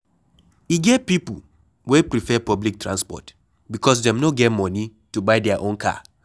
E get pipo wey prefer public transport because dem no get moni to buy their own car